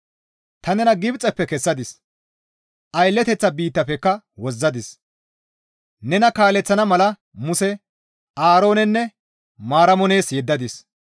Ta nena Gibxeppe kessadis; aylleteththa biittafekka wozzadis; nena kaaleththana mala Muse, Aaroonenne Maaramo nees yeddadis.